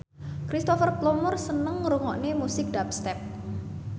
Cristhoper Plumer seneng ngrungokne musik dubstep